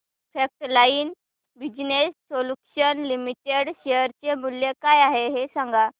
frontline business solutions limited share चे मूल्य काय आहे हे सांगा